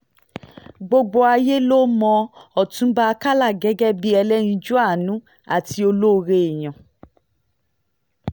gbogbo ayé ló mọ ọtúnba àkàlà gẹ́gẹ́ bíi ẹlẹ́yinjú àánú àti ọlọ́rẹ èèyàn